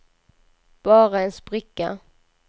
bara en spricka